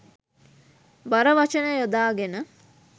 බර වචන යොදාගෙන